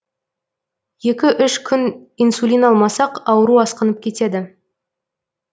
екі үш күн инсулин алмасақ ауру асқынып кетеді